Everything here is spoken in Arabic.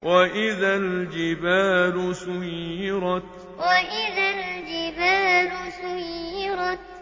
وَإِذَا الْجِبَالُ سُيِّرَتْ وَإِذَا الْجِبَالُ سُيِّرَتْ